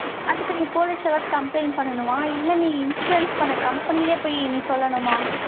அதுக்கு நீ police complaint பண்ணனுமா? இல்ல நீ insurance பண்ண company லயே போய் நீ சொல்லணுமா?